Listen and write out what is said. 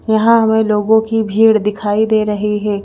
यहां हमे लोगों की भीड़ दिखाई दे रही है।